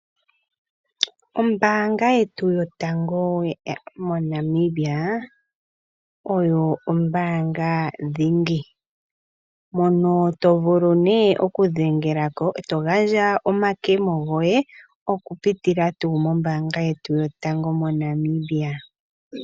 Ombaanga yetu moNamibia oyo ombaanga dhingi , mono to vulu okudhengelako eto gandja omakemo goye , okupitila kombaanga yetu yaNamibia.